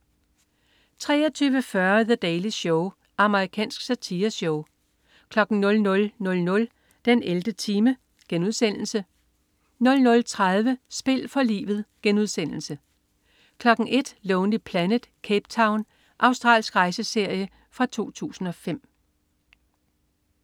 23.40 The Daily Show* Amerikansk satireshow 00.00 den 11. time* 00.30 Spil for livet* 01.00 Lonely Planet: Cape Town. Australsk rejseserie fra 2005